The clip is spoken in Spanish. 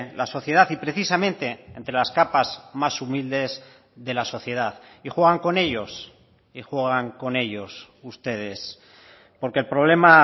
la sociedad y precisamente entre las capas más humildes de la sociedad y juegan con ellos y juegan con ellos ustedes porque el problema